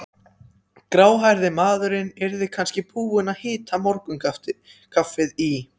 Gráhærði maðurinn yrði kannski búinn að hita morgunkaffið í